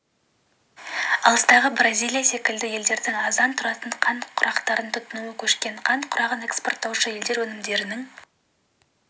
алыстағы бразилия секілді елдердің арзан тұратын қант құрақтарын тұтынуға көшкен қант құрағын экспорттаушы елдер өнімдерінің